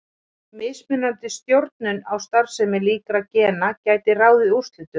Mismunandi stjórnun á starfsemi líkra gena gæti ráðið úrslitum.